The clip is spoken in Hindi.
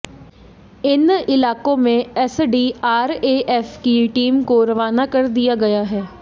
इन इलाकों में एसडीआरएएफ की टीम को रवाना कर दिया गया है